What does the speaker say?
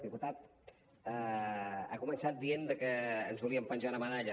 diputat ha començat dient que ens volíem penjar una medalla